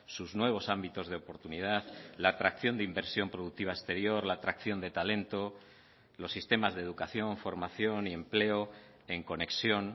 sus nuevos ámbitos de oportunidad la atracción de inversión productiva exterior la atracción de talento los sistemas de educación formación y empleo en conexión